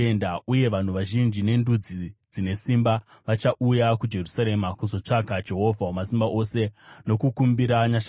Uye vanhu vazhinji nendudzi dzine simba vachauya kuJerusarema kuzotsvaka Jehovha Wamasimba Ose nokukumbira nyasha kwaari.”